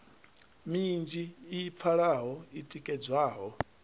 minzhi i pfalaho i tikedzwaho